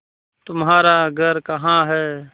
तुम्हारा घर कहाँ है